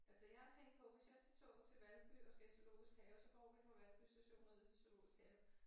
Altså jeg har tænkt på hvis jeg tager toget til Valby og skal i Zoologisk Have så går vi fra Valby Station og ned til Zoologisk Have